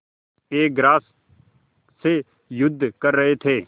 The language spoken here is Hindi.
एक ग्रास से युद्ध कर रहे थे